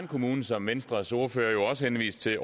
kommune som venstres ordfører jo også henviste til